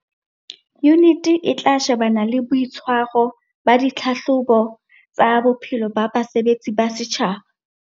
Yuniti e tla shebana le boitshwaro ba ditlhahlobo tsa bophelo ba basebetsi ba setjhaba.